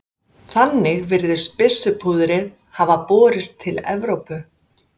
Þannig virðist byssupúðrið hafa borist til Evrópu.